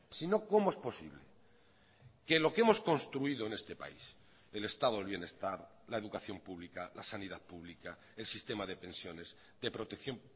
si no cómo es posible que lo que hemos construido en este país el estado del bienestar la educación pública la sanidad pública el sistema de pensiones de protección